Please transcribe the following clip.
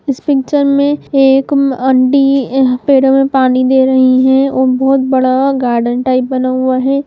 इस पिक्चर में एक आंटी पेड़ों में पानी दे रही हैं और बहुत बड़ा गार्डन टाइप बना हुआ है।